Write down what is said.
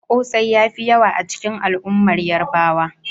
Kosai ya fi yawa a cikin al'ummar Yarbawa.